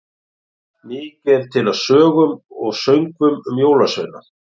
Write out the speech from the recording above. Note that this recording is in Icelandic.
Mikið er til af sögum og söngvum um jólasveina.